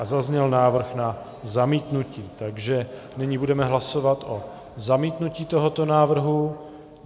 A zazněl návrh na zamítnutí, takže nyní budeme hlasovat o zamítnutí tohoto návrhu.